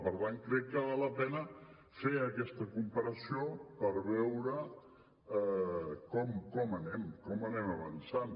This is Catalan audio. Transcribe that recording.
per tant crec que val la pena fer aquesta comparació per veure com anem com anem avançant